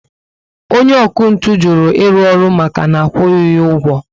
Onye ọkụ ntụ juru iru ọrụ maka na akwughi ya ụgwọ